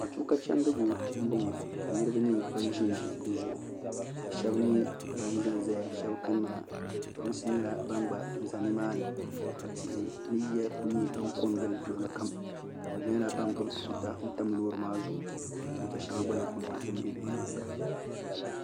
matuka chɛni diku n bɔŋɔ niriba nyɛ ban ʒɛn ʒɛ di zuɣ' ka shɛbi nyɛ ban zan zaya pɛrinsi nyɛla ban gba za ni maani ka tihi ni yiya kuli kon gili luɣili kam ka be nyɛla ban gbabi tuuta lori maa zuɣ' ka tuta shɛŋa lɛɛ kuli nyɛ di bɛ lori maa ni